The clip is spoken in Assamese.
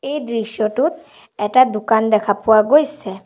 এই দৃশ্যটোত এটা দোকান দেখা পোৱা গৈছে।